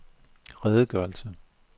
redegørelse